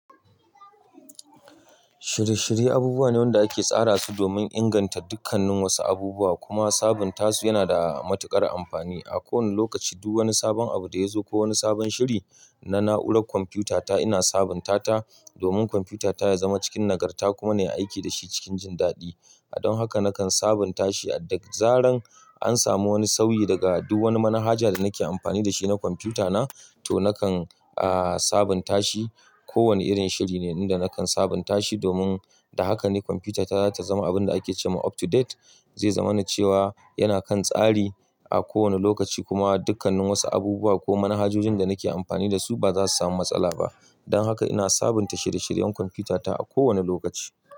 Shirye-shirye abubuwa ne wanda ake tsara su domin inganta dukkannin wasu abubuwa kuma sabunta su yana da matuƙar amfani. A kowane lokaci duk wani sabon abu da ya zo ko wani sabon shiri na na'urar kwamfutata ina sabunta ta domin kwamfutata ya zama cikin nagarta kuma na yi aiki da shi cikin jin daɗi. Don haka nakan sabunta shi a da zaran an samu wani sauyi daga duk wani manhaja da nake amfani da shi na kwamfutana to nakan, ah, sabunta shi. Kowane irin shiri ne inda nakan sabunta shi domin da hakan ne kwamfutata za ta zama abin da ake ce ma up to date, zai zamani cewa yana kan tsari a kowane lokaci kuma dukkannin wasu abubuwa ko manhajojin da nake amfani da su ba za su samu matsala ba. Don haka ina sabunta shirye-shiryen kwamfutata a kowane lokaci.